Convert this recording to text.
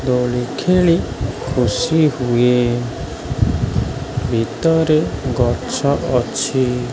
ଦୋଳି ଖେଳି ଖୁସି ହୁଏ। ଭିତରେ ଗଛ ଅଛି।